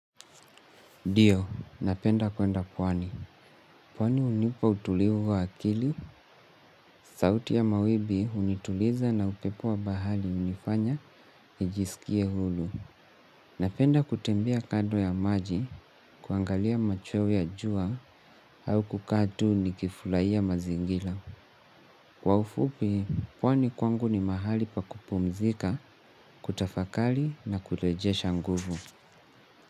Dio, napenda kwenda pwani. Pwani unipa utulivu wa akili, sauti ya mawibi unituliza na upepo wa bahari unifanya, nijisikie hulu. Napenda kutembea kado ya maji, kuangalia machweo ya jua, au kukaa tu nikifulaia mazingila. Kwa ufupi, pwani kwangu ni mahali pa kupumzika, kutafakali na kulejesha nguvu.